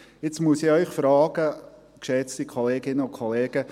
Jetzt muss ich Sie fragen, geschätzte Kolleginnen und Kollegen: